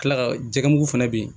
Kila ka ja mugu fana bɛ yen